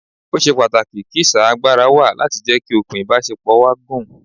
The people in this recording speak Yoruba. Ó ṣe pàtàkì kí sà agbára wa láti jẹ́ kí okùn ìbásepọ̀ wa gùn